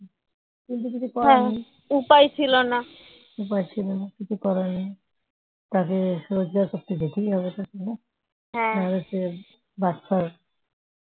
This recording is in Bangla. তাকে রোজগার করতে যেতেই হবে না হলে সে